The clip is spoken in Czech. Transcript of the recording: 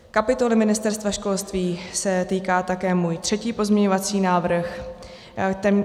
Kapitoly Ministerstva školství se týká také můj třetí pozměňovací návrh.